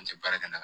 An tɛ baara kɛ ka